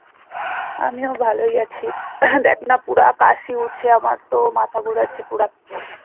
আমিও ভালোই আছি দ্যাখ না পুরা কাশি উঠছে আমার তো মাথা ঘুরাচ্ছে পুরা